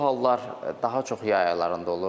Bu hallar daha çox yay aylarında olur.